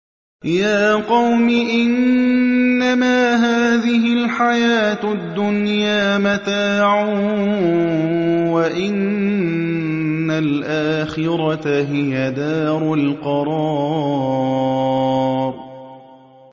يَا قَوْمِ إِنَّمَا هَٰذِهِ الْحَيَاةُ الدُّنْيَا مَتَاعٌ وَإِنَّ الْآخِرَةَ هِيَ دَارُ الْقَرَارِ